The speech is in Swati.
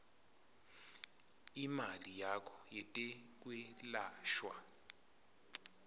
imali yakho yetekwelashwa